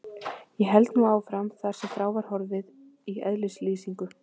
Ég held nú áfram þar sem frá var horfið í eðlislýsingu